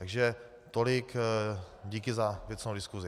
Takže tolik díky za věcnou diskusi.